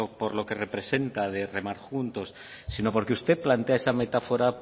por lo que representa de remar juntos sino porque usted plantea esa metáfora